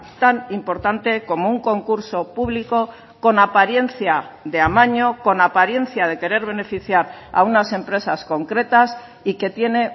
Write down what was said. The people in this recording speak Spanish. tan importante como un concurso público con apariencia de amaño con apariencia de querer beneficiar a unas empresas concretas y que tiene